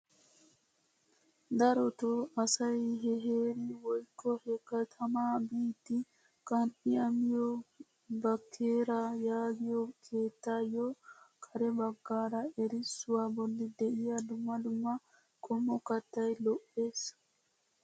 Darotoo asay he heeri woykko he keettaa biidi qan"iyaa miyoo bakeera yaagiyoo keettaayo kare baggaara erissuwaa bolli de'iyaa dumma dumma qommo kattay lo"ees!